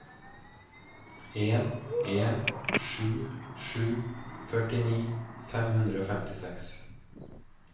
en en sju sju førtini fem hundre og femtiseks